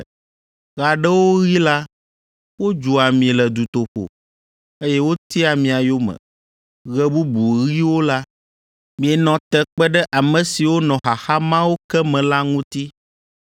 Ɣe aɖewo ɣi la wodzua mi le dutoƒo, eye wotia mia yome, ɣe bubu ɣiwo la, mienɔ te kpe ɖe ame siwo nɔ xaxa mawo ke me la ŋuti.